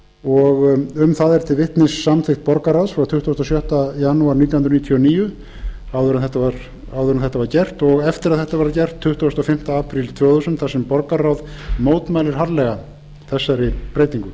og um það er til vitnis samþykkt borgarráðs frá tuttugasta og sjötta janúar nítján hundruð níutíu og níu áður en þetta var gert og eftir að þetta var gert tuttugasta og fimmta apríl tvö þúsund þar sem borgarráð mótmælir harðlega þessari breytingu